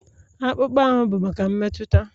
Akpụkpọ ahụ bụ maka mmetụta